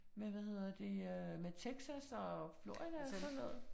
Med hvad hedder det øh med Texas og Florida og sådan noget